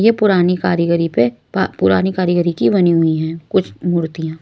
ये पुरानी कारीगरी पे पुरानी कारीगरी की बनी हुई है कुछ मूर्तियां---